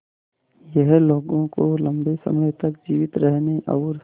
यह लोगों को लंबे समय तक जीवित रहने और